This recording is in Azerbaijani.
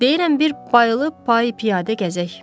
Deyirəm bir Bayıla piyada gəzək.